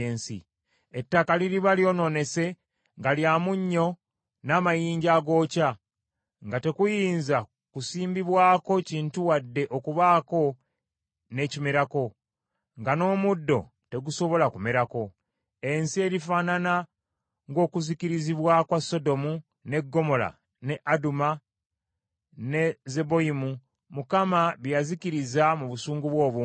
Ettaka liriba lyonoonese nga lya munnyo n’amayinja agookya, nga tekuyinza kusimbibwako kintu wadde okubaako n’ekimerako, nga n’omuddo tegusobola kumerako. Ensi erifaanana ng’okuzikirizibwa kwa Sodomu, ne Ggomola, ne Aduma, ne Zeboyimu, Mukama bye yazikiriza mu busungu bwe obungi.